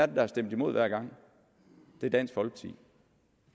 der har stemt imod hver gang det er dansk folkeparti